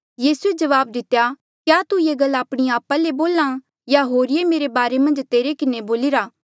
यीसूए जवाब दितेया क्या तू ये गल आपणी आपा ले बोल्हा या होरिये मेरे बारे मन्झ तेरे किन्हें बोलिरा